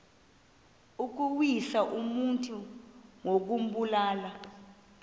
ukuwisa umntu ngokumbulala